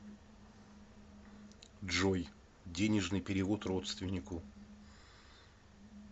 джой денежный перевод родственнику